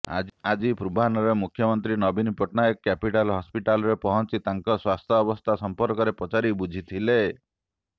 ଆଜି ପୂର୍ବାହ୍ନରେ ମୁଖ୍ୟମନ୍ତ୍ରୀ ନବୀନ ପଟ୍ଟନାୟକ କ୍ୟାପିଟାଲ ହସ୍ପିଟାଲରେ ପହଞ୍ଚି ତାଙ୍କ ସ୍ବାସ୍ଥ୍ୟାବସ୍ଥା ସଂପର୍କରେ ପଚାରି ବୁଝିଥିଲେ